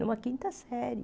Numa quinta série.